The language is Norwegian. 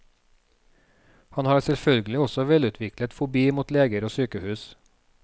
Han har selvfølgelig også velutviklet fobi mot leger og sykehus.